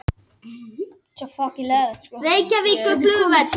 Ættkvíslir og tegundir eru grunnurinn að hinni fræðilegu nafngift lífvera.